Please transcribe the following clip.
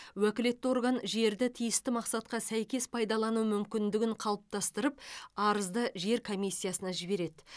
уәкілетті орган жерді тиісті мақсатқа сәйкес пайдалану мүмкіндігін қалыптастырып арызды жер комиссиясына жібереді